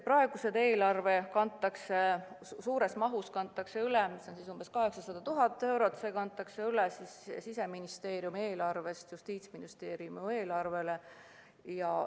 Praegusest eelarvest kantakse suur summa, umbes 800 000 eurot üle Siseministeeriumi eelarvest Justiitsministeeriumi eelarvele.